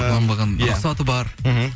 ұрланбаған рұқсаты бар мхм